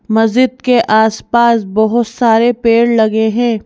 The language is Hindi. मस्जिद के आसपास बहुत सारे पेड़ लगे हैं।